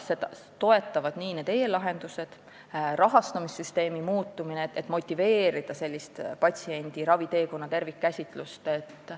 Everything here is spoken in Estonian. Seda toetavad need e-lahendused ja rahastamissüsteemi muutumine, et motiveerida patsiendi raviteekonna tervikkäsitlust.